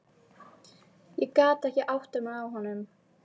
Ég gat ekki áttað mig á honum.